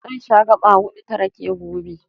Zan sha gaɓa huɗu ta rake gobe.